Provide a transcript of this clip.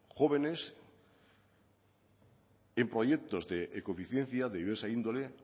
jóvenes en proyectos de ecoeficiencia de diversa índole